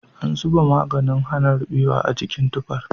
An zuba maganin hana rubewa a jikin tufar.